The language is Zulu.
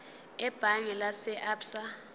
ebhange lase absa